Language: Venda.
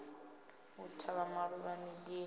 u tavha maluvha midini ya